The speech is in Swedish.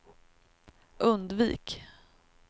undvik